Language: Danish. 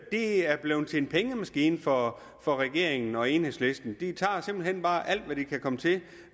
er blevet til en pengemaskine for for regeringen og enhedslisten de tager simpelt hen bare alt hvad de kan komme til